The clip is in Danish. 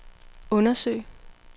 undersøge